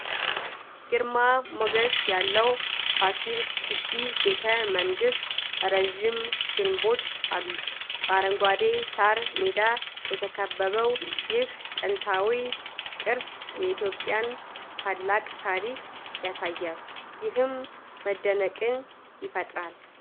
ግርማ ሞገስ ያለው ፋሲል ግቢ ቤተ መንግሥት ረዥም ግንቦች አሉት። በአረንጓዴ ሳር ሜዳ የተከበበው ይህ ጥንታዊ ቅርስ የኢትዮጵያን ታላቅ ታሪክ ያሳያል፤ ይህም መደነቅን ይፈጥራል።